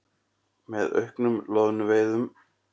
með auknum loðnuveiðum.